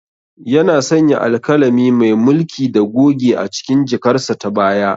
Yana sanya alkalami, mai mulki da goge a cikin jakarsa ta baya.